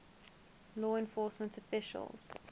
law enforcement officials